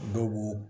Dɔw b'u